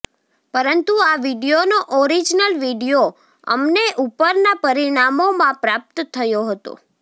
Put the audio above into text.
પરંતુ આ વીડિયોનો ઓરિજનલ વીડિયો અમને ઉપરના પરિણામોમાં પ્રાપ્ત થયો હતો